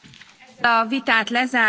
A vitát lezárom.